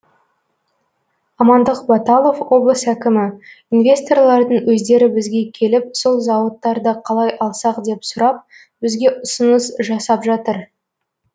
амандық баталов облыс әкімі инвесторлардың өздері бізге келіп сол зауыттарды қалай алсақ деп сұрап бізге ұсыныс жасап жатыр